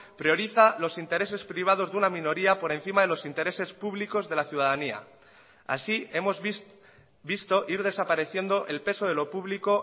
prioriza los intereses privados de una minoría por encima de los intereses públicos de laciudadanía así hemos visto ir desapareciendo el peso de lo público